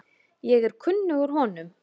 Ég er kunnugur honum.